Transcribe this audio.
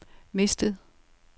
mistet